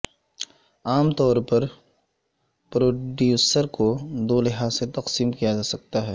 عام طور پر پروڈیوسر کو دو لحاظ سے تقسیم کیاجاسکتاہے